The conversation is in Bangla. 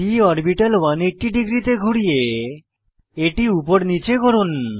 p অরবিটাল 180 ডিগ্রীতে ঘুরিয়ে এটি উপর নীচে করুন